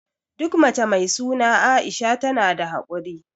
Duk mace mai suna Aisha tana da hakuri.